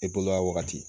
E bolo a wagati